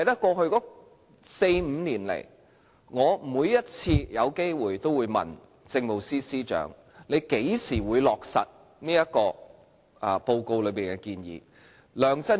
過去四五年來，我每次有機會便問政務司司長何時會落實這份報告內的建議。